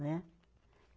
Né?